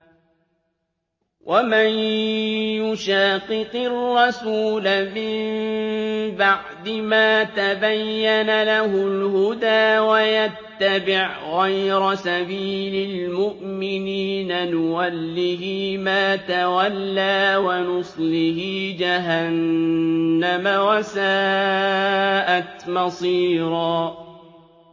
وَمَن يُشَاقِقِ الرَّسُولَ مِن بَعْدِ مَا تَبَيَّنَ لَهُ الْهُدَىٰ وَيَتَّبِعْ غَيْرَ سَبِيلِ الْمُؤْمِنِينَ نُوَلِّهِ مَا تَوَلَّىٰ وَنُصْلِهِ جَهَنَّمَ ۖ وَسَاءَتْ مَصِيرًا